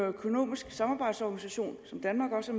økonomisk samarbejdsorganisation som danmark også